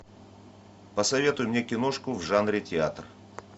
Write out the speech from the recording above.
посоветуй мне киношку в жанре театр